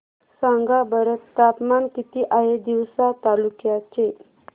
सांगा बरं तापमान किती आहे तिवसा तालुक्या चे